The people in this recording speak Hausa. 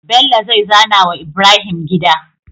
Bello zai zana wa Ibrahim gida